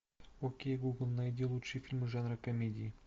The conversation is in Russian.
окей гугл найди лучшие фильмы жанра комедии